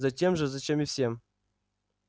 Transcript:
затем же зачем и всем